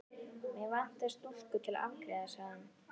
Mig vantar stúlku til að afgreiða sagði hann.